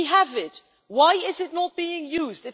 We have it why is it not being used?